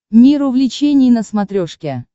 мир увлечений на смотрешке